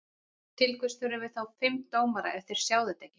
Til hvers þurfum við þá fimm dómara ef þeir sjá þetta ekki?